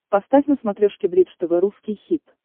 поставь на смотрешке бридж тв русский хит